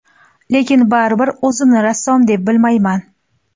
Lekin baribir o‘zimni rassom deb bilmayman.